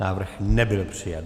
Návrh nebyl přijat.